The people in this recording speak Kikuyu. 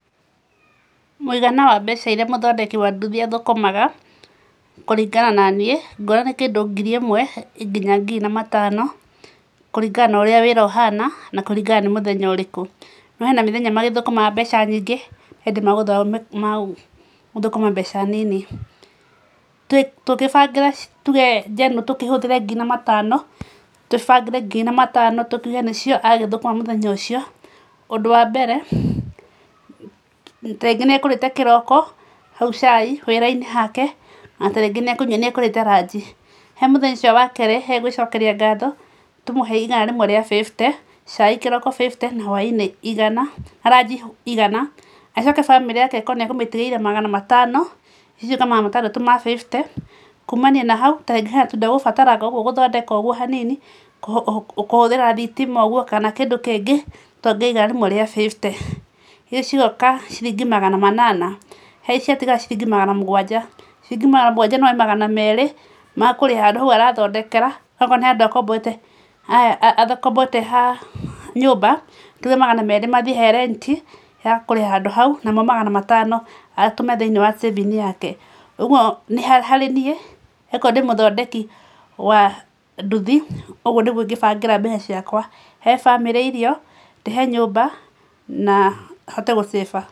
Mũigana wa mbeca iria mũthondeki wa nduthi athũkũmaga, kũringana na niĩ, nguona nĩ kĩndũ ngiri ĩmwe nginya ngiri na matano kũringana na ũrĩa wĩra ũhana na kũringana nĩ mũthenya ũrĩkũ, no hena mĩthenya magĩthũkũmaga mbeca nyingĩ he hĩndĩ me gũthũkũma mbeca nini. Tũgĩbangĩra, tuge njenũrũ tũkĩhũthĩre ngiri na matano, tũbangĩre ngiri na matano tuge nĩcio agĩthũkũma mũthenya ũcio. Ũndũ wa mbere, ta rĩngĩ nĩekũrĩte kĩroko hau cai, wĩra-inĩ hake na tarĩngĩ nĩ ekũrĩte ranji. He mũthenya ũcio wake e gwĩcokeria ngatho, tũmũhe igana rĩmwe rĩa bĩbite, cai kĩroko bĩbite na hwaĩ-inĩ igana, na ranji igana, acoke bamĩrĩ yake akorwo nĩ ekũmĩtigĩire magana matano, icio ciũke magana matandatũ ma bĩbute. Kumania na hau, ta rĩngĩ hena tũindo e gũbataranga ũguo hanini, kũhũthĩranga thitima ũguo kana kĩndũ kĩngĩ, tuongerere igana rĩmwe rĩa bĩbute. Icio cigoka ciringi magana manana. He ici ciatigara ciringi magana mũgwanja. Ciringi magana mũgwanja no oe magana merĩ ma kũrĩha handũ hau arathondekera, okorwo nĩ handũ akomborete ha nyũmba, tuge magana merĩ mathiĩ he rent ya kũrĩha handũ hau, namo magana matano atũme thĩini wa saving yake. Ũguo harĩ niĩ, okorwo ndĩ mũthondeki wa nduthi, ũguo nĩguo ingĩbangĩra mbeca ciakwa, he bamĩrĩ irio, ndĩhe nyũmba na hote gũ save a.